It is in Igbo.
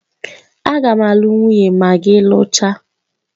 A ga m alu nwunye ma gi luchaa